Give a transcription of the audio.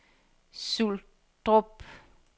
Suldrup